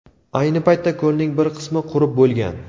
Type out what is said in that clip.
Ayni paytda ko‘lning bir qismi qurib bo‘lgan.